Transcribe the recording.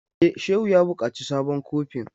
E, Shehu ya buƙaci sabon kofin.